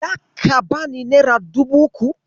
Zaka bani nera dubu uku?